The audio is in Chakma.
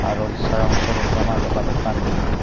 aro sarong sorojo majo balukani.